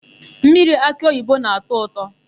Mmiri akịoyibo na-ata ụtọ.